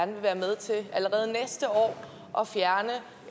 vil være med til allerede næste år at fjerne